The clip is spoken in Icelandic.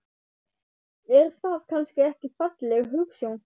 Er það kannski ekki falleg hugsjón?